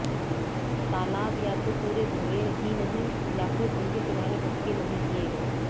तालाब या तो पूरे भरे ही नहीं या फिर उनके किनारे पक्के नहीं किए गए